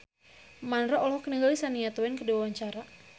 Mandra olohok ningali Shania Twain keur diwawancara